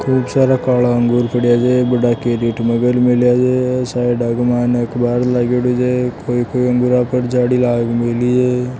खूब सारा काला अंगूर पडिया से गेट केरेट में है साइड के मायने अख़बार लगेलो छे कोई कोई अंगूर झाड़ी लाग मेलि छे जे।